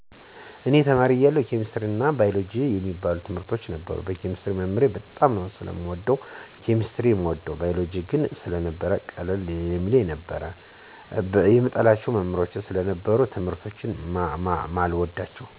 እኔ ተማሪ እያለሁ ኬሚስትሪ አና ባይወሎጀጂ የሚባሉትን ትምርቶች ነበር። ኬሚስትሪን መምህሬን በጣም ስለምወደው ነው ኬሚስትሪን የምወደው። ባይወሎጂን ግን ስነበው ቀለል ስለሚለኝ ነው። ቢሆንም ግን ሌሎችን እጠላለሁ ማለት አይደለም። በርግጥ የምጠላቸው ትምህርቶች ነበሩ። ግን አሁን ላይ ሳስበው ልክ አልነበርኩም። አሁን ላይ ብማራቸው በደንብ እንደምማራቸው ተስፋ አደርጋለሁ። ምጠላቸው መሞህሮች ስለነበሩ ነው ትምርቶችን የማልወዳቸው።